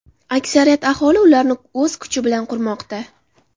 Aksariyat aholi ularni o‘z kuchi bilan qurmoqda.